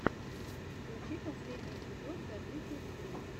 включи последний эпизод добикилстрик